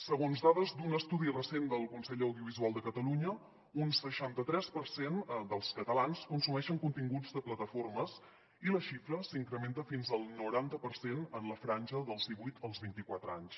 segons dades d’un estudi recent del consell de l’audiovisual de catalunya un seixanta·tres per cent dels catalans consumeixen continguts de plataformes i la xi·fra s’incrementa fins al noranta per cent en la franja dels divuit als vint·i·quatre anys